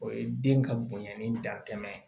O ye den ka bonɲanni datɛmɛ ye